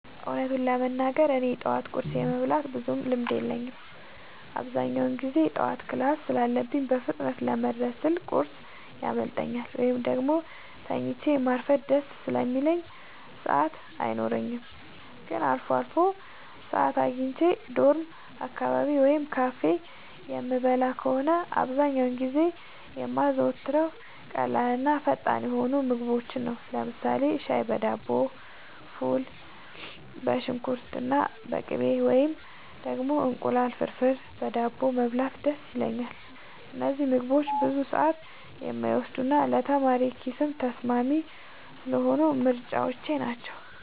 እውነቱን ለመናገር እኔ የጠዋት ቁርስ የመብላት ብዙም ልምድ የለኝም። አብዛኛውን ጊዜ ጠዋት ክላስ ስላለኝ በፍጥነት ለመድረስ ስል ቁርስ ያመልጠኛል፤ ወይም ደግሞ ተኝቶ ማርፈድ ደስ ስለሚለኝ ሰዓት አይኖረኝም። ግን አልፎ አልፎ ሰዓት አግኝቼ ዶርም አካባቢ ወይም ካፌ የምበላ ከሆነ፣ አብዛኛውን ጊዜ የማዘወትረው ቀላልና ፈጣን የሆኑ ምግቦችን ነው። ለምሳሌ ሻይ በዳቦ፣ ፉል በሽንኩርትና በቅቤ፣ ወይም ደግሞ እንቁላል ፍርፍር በዳቦ መብላት ደስ ይለኛል። እነዚህ ምግቦች ብዙ ሰዓት የማይወስዱና ለተማሪ ኪስም ተስማሚ ስለሆኑ ምርጫዎቼ ናቸው።